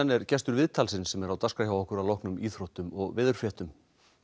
er gestur viðtalsins sem er á dagskrá hjá okkur að loknum íþróttum og veðurfréttum